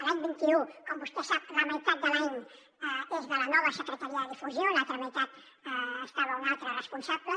l’any vint un com vostè sap la meitat de l’any és de la nova secretaria de difusió a l’altra meitat hi havia un altre responsable